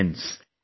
Friends,